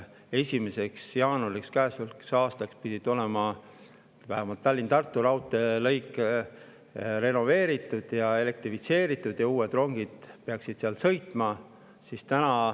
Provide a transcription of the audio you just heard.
Käesoleva aasta 1. jaanuariks pidi olema vähemalt Tallinna-Tartu raudteelõik renoveeritud ja elektrifitseeritud ja uued rongid peaksid seal sõitma.